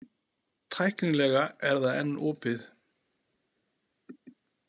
Tæknilega er það enn opið.